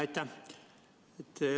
Aitäh!